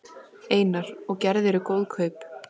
Einar: Og gerðirðu góð kaup?